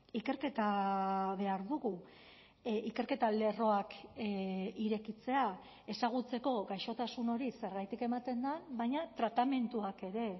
ikerketa behar dugu ikerketa lerroak irekitzea ezagutzeko gaixotasun hori zergatik ematen den baina tratamenduak ere